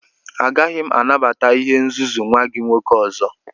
Agaghị m anabata ihe nzuzu nwa gị nwoke ọzọ!